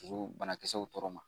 O banakisɛw tɔɔrɔ ma